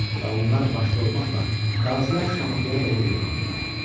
Və onlar başda olmaqla qazilər Şamaxıya doğru yollandılar.